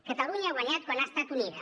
catalunya ha guanyat quan ha estat unida